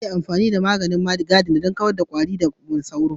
Ana iya amfani da man gadina don kawar da kwari kamar sauro da ari.